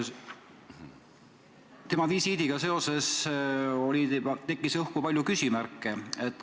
Selle visiidiga seoses tekkis õhku palju küsimärke.